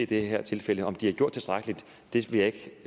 det her tilfælde om de har gjort tilstrækkeligt vil jeg ikke